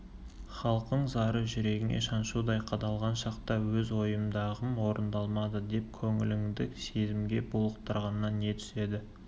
халқың зары жүрегіңе шаншудай қадалған шақта өз ойымдағым орындалмады деп көңіліңді сезімге булықтырғаннан не түседі